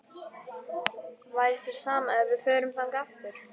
Væri þér sama ef við förum þangað aftur?-